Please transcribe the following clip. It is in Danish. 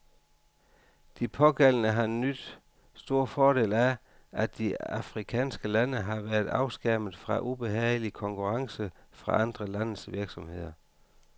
De pågældende har nydt stor fordel af, at de afrikanske lande har været afskærmet fra ubehagelig konkurrence fra andre landes virksomheder.